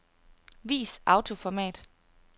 Vis autoformat.